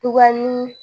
Tugunnin